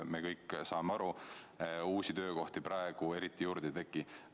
Me kõik saame ju aru, et uusi töökohti praegu eriti juurde ei teki.